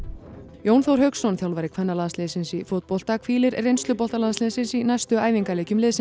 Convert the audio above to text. Jón Þór Hauksson þjálfari kvennalandsliðsins í fótbolta hvílir reynslubolta landsliðsins í næstu æfingaleikjum liðsins